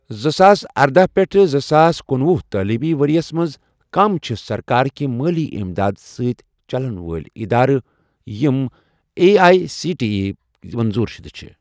زٕساس ارداہ پیٹھٕ زٕ ساس کنُۄہُ تعلیٖمی ورۍ یَس مَنٛز، کم چھِ سرکار کہِ مٲلی اِمداد سٟتؠ چَلن وٲلۍ ادارٕ یِم A I C T E یٕک منظور شُدٕ چھِ؟